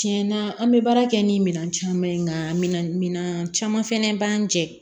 Tiɲɛna an bɛ baara kɛ ni minɛn caman ye nka minan caman fɛnɛ b'an jɛ